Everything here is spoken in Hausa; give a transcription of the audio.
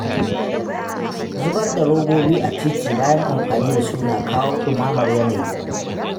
Zubar da robobi a titi bayan amfani da su na kawo ɗumamar yanayi